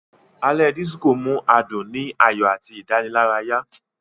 Alé Disiko mú adún ni ayọ àti Idanilaraya.